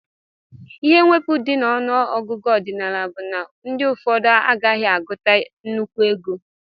Ihe mwepu di na ọnụ ọgụgụ ọdinala bu na ndi ụfọdụ agaghi aguta nnekwu ego.